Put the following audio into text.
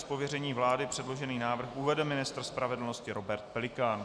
Z pověření vlády předložený návrh uvede ministr spravedlnosti Robert Pelikán.